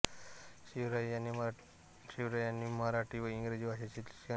शिवराम यांनी मराठी व इंग्रजी भाषेचे शिक्षण घेतले